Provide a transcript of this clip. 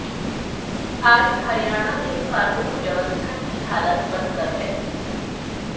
आज हरियाणा में कानून व्यवस्था की हालत बदतर है